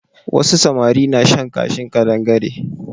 Wasu samari na shan kashin ƙadangare.